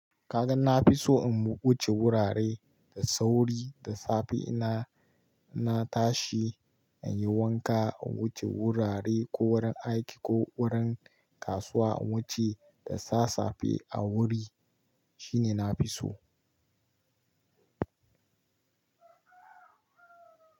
Ka gan na fi so in wuce wurare da sauri, da safe ina, na tashi in yi wanka, in wuce wurare ko wurin aiki ko wurin kasuwa, in wuce da sassafe a wuri shine na fi so.